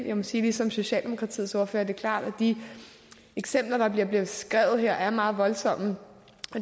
jeg må sige ligesom socialdemokratiets ordfører at det er klart at de eksempler der bliver beskrevet her er meget voldsomme